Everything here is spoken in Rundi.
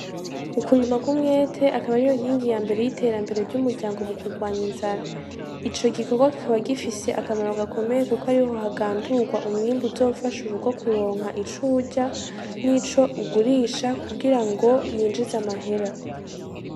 Ukurima kw'umwete akaba ari yo inkingi ya mbere y'iterambere ry'umuryango mu kurwanya inzara ico gikorwa kikaba gifise akamaro gakomeye, kuko ariho hagandurwa umwimbu uzofasha urugo kuronka icurya n'ico ugurisha kugira ngo yinjize amahera.